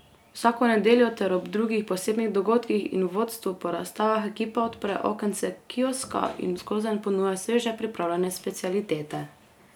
Vsako nedeljo ter ob drugih posebnih dogodkih in vodstvu po razstavah ekipa odpre okence kioska in skozenj ponuja sveže pripravljene specialitete.